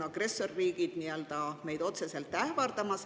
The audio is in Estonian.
Agressorriigid ähvardavad meid otseselt.